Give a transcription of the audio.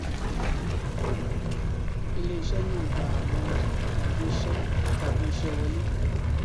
ilé iṣé náà gba àwọn ọjà tabi iṣẹ tabi iṣẹ wọlé